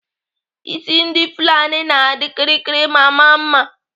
Isi ndị Fulani na-adị kịrịkịrị ma maa mma.